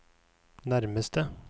nærmeste